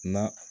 Na